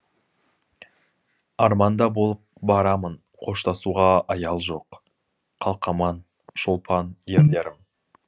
арманда болып барамын қоштасуға аял жоқ қалқаман шолпан ерлерім